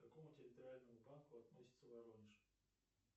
к какому территориальному банку относится воронеж